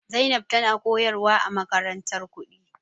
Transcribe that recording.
Zainab tana koyarwa a makarantar kuɗi.